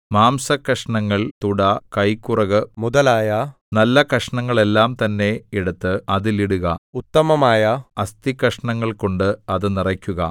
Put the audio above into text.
മാംസക്കഷണങ്ങൾ തുട കൈക്കുറക് മുതലായ നല്ല കഷണങ്ങളെല്ലാം തന്നെ എടുത്ത് അതിൽ ഇടുക ഉത്തമമായ അസ്ഥിക്കഷണങ്ങൾകൊണ്ട് അത് നിറയ്ക്കുക